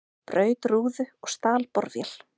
Braut rúðu og stal borvél